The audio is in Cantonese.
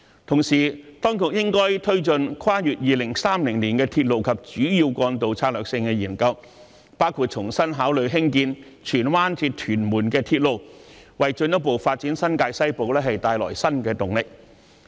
同時，當局應該推進《跨越2030年的鐵路及主要幹道策略性研究》，包括重新考慮興建荃灣至屯門的鐵路，為新界西部的進一步發展帶來新的動力。